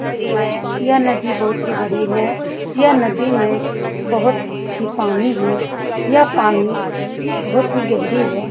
नदी है यह नदी बहुत ही बड़ी है यह नदी में बहोत ही पानी है यह पानी बहोत ही गहरी है।